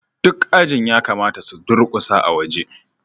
duk ajin ya kamata su durƙusa a waje